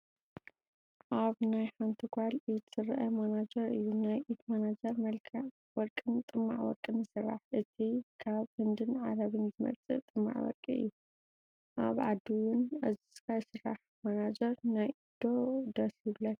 ኣብ ናይ ሓንቲ ጓል ኢድ ዝረአ ማናጀር እዩ፡፡ ናይ ኢድ ማናጀር መልክዕ ወርቅን ጥማዕ ወርቅን ይስራሕ፣ እቲ ካብ ህንድን ዓረብን ዝመፅእ ጥማዕ ወርቂ እዩ፡፡ ካብ ዓዲ ውን ኣእዚዝካ ይስራሕ፡፡ ማናጀር ናይ ኢድ ዶ ደስ ይብለክን?